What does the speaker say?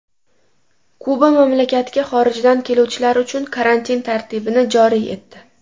Kuba mamlakatga xorijdan keluvchilar uchun karantin tartibini joriy etdi.